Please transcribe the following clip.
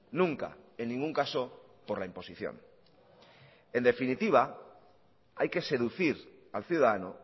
nunca en ningún caso por la imposición en definitiva hay que seducir al ciudadano